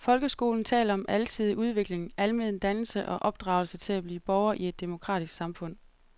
Folkeskoleloven taler om alsidig udvikling, almen dannelse og opdragelse til at blive borger i et demokratisk samfund.